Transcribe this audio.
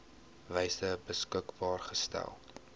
wyse beskikbaar gestel